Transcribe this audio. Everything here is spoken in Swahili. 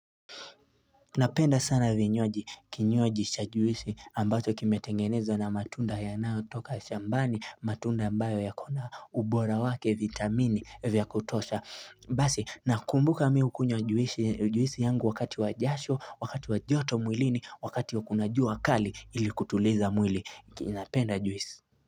Napenda sana vinywaji kinywaji cha juisi ambacho kimetengenezwa na matunda yanayotoka shambani matunda ambayo yakona ubora wake vitamini vya kutosha basi nakumbuka mimi hukunywa juisi yangu wakati wa jasho wakati wa joto mwilini wakati kuna jua kali ili kutuliza mwili napenda juisi.